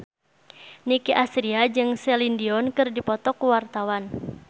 Nicky Astria jeung Celine Dion keur dipoto ku wartawan